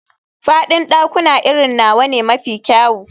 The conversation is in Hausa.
Faɗin ɗakuna irin nawa ne mafi kyau.